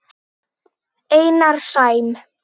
Einar Sæm.